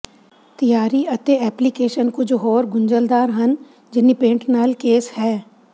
ਤਿਆਰੀ ਅਤੇ ਐਪਲੀਕੇਸ਼ਨ ਕੁਝ ਹੋਰ ਗੁੰਝਲਦਾਰ ਹਨ ਜਿੰਨੀ ਪੇੰਟ ਨਾਲ ਕੇਸ ਹੈ